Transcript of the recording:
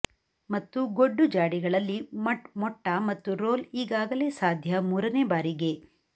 ಮತ್ತು ಗೊಡ್ಡು ಜಾಡಿಗಳಲ್ಲಿ ಮೊಟ್ಟ ಮತ್ತು ರೋಲ್ ಈಗಾಗಲೇ ಸಾಧ್ಯ ಮೂರನೇ ಬಾರಿಗೆ